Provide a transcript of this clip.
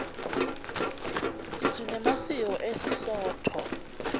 sinemasiko esisotho